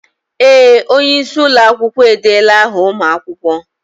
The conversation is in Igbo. Ee! Onye isi ụlọ akwụkwọ edeela áhà ụmụ akwụkwọ.